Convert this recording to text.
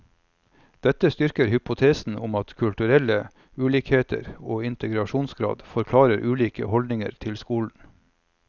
Dette styrker hypotesen om at kulturelle ulikheter og integrasjonsgrad forklarer ulike holdninger til skolen.